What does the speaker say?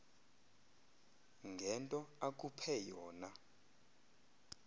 ngento akuphe yona